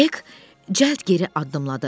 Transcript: Hek cəld geri addımladı.